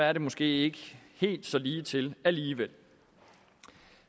er det måske ikke helt så ligetil alligevel